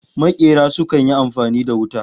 Makera sukan yi amfani da wuta